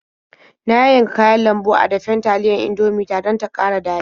Na yayyanka kayan lambu a dafen taliyar Indomie ta don ta ƙara daɗi.